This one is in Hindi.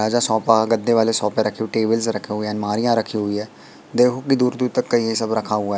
गद्दे वाले सोफे रखे हुए हैं टेबल रखे हुए हैं अलमारियां रखी हुई हैं देखो दूर दूर तक कई ये सब रखे हुआ--